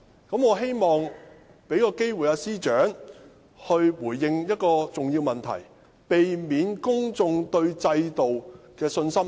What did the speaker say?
我希望給予司長機會回應一個重要問題，以免進一步削弱公眾對制度的信心。